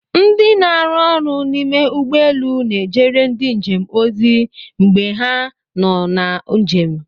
Ndị na-arụ ọrụ n'ime ụgbọelu n'ejere ndị njem ozi mgbe ha nọ na njem.